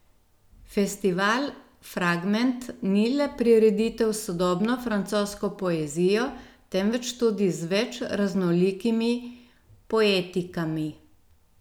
Festival Fragment ni le prireditev s sodobno francosko poezijo, temveč tudi z več raznolikimi poetikami.